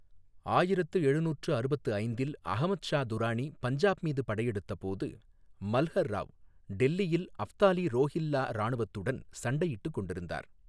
ஆயிரத்து எழுநூற்று அறுபத்து ஐந்தில் அஹ்மத் ஷா துரானி பஞ்சாப் மீது படையெடுத்தபோது மல்ஹர் ராவ் டெல்லியில் அப்தாலி ரோஹில்லா இராணுவத்துடன் சண்டையிட்டுக் கொண்டிருந்தார்.